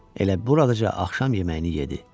Elə buradaca axşam yeməyini yedi.